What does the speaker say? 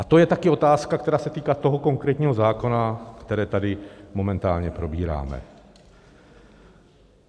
A to je taky otázka, která se týká toho konkrétního zákona, který tady momentálně probíráme.